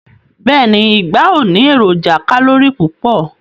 Beeni, igba o ni eroja kalori pupo